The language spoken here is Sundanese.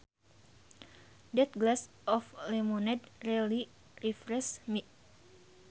That glass of lemonade really refreshed me